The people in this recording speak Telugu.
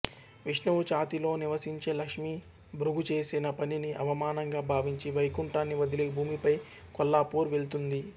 విష్ణువు ఛాతీలో నివసించే లక్ష్మి భృగు చేసిన పనిని అవమానంగా భావించి వైకుంఠాన్ని వదిలి భూమిపై కొల్లాపూర్ వెళ్తుంది